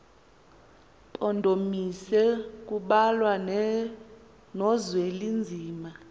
mpondomise kubalwa nozwelinzima